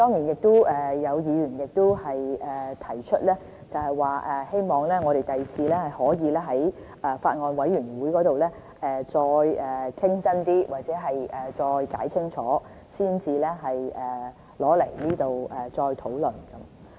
有議員亦提出，希望我們日後可以先在法案委員會內認真討論或解釋清楚，才在這裏再討論。